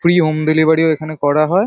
Free home delivery -ও এখানে করা হয় ।